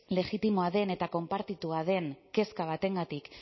legitimoa den eta konpartitua den kezka batengatik